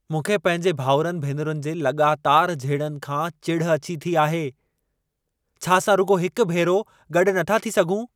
मूंखे पंहिंजे भाउरनि-भेनरुनि जे लॻातार झेड़नि खां चिढ़ अची थी आहे। छा असां रुॻो हिक भेरो गॾु नथा थी सघूं?